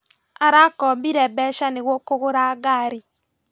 Arakombire mbeca nĩguo kũgũra ngari